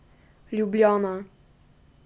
Ljubljana.